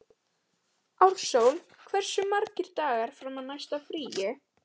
Ársól, hversu margir dagar fram að næsta fríi?